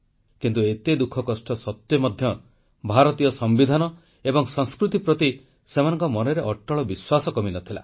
କିନ୍ତୁ ଏତେ ଦୁଃଖକଷ୍ଟ ସତ୍ୱେ ମଧ୍ୟ ଭାରତୀୟ ସମ୍ବିଧାନ ଏବଂ ସଂସ୍କୃତି ପ୍ରତି ସେମାନଙ୍କ ମନରେ ଅଟଳ ବିଶ୍ୱାସ କମିନଥିଲା